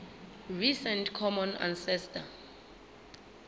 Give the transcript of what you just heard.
recent common ancestor